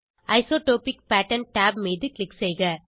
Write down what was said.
isotropic pattern tab மீது click செய்க